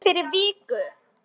Komstu fyrir viku?